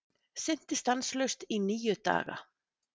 Synti stanslaust í níu daga